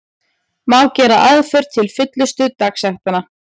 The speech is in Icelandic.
Má gera aðför til fullnustu dagsektanna.